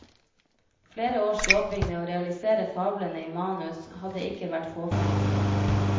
Flere års jobbing med å realisere fablene i manus hadde ikke vært fåfengt.